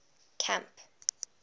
camp